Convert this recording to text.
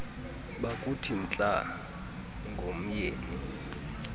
bakuthi ntla ngomyeni